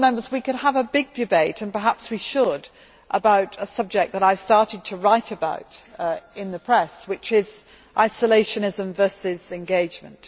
We could have a big debate and perhaps we should about a subject that I started to write about in the press, which is isolationism versus engagement.